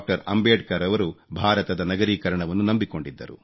ಅಂಬೇಡ್ಕರ್ ರವರು ಭಾರತದ ನಗರೀಕರಣವನ್ನು ನಂಬಿಕೊಂಡಿದ್ದರು